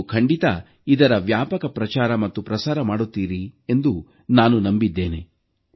ನೀವು ಖಂಡಿತಾ ಇದರ ವ್ಯಾಪಕ ಪ್ರಚಾರ ಮತ್ತು ಪ್ರಸಾರ ಮಾಡುತ್ತೀರಿ ಎಂದು ನಾನು ನಂಬಿದ್ದೇನೆ